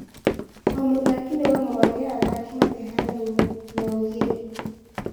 O mũthaki nĩ wa mwanya athaki matihanaine nĩaugire